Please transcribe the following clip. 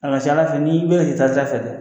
A ka ca Ala fɛ n'i bɛ hitata fɛ dɛ